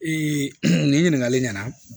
nin ɲininkali ɲɛna